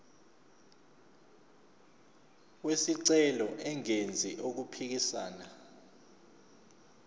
wesicelo engenzi okuphikisana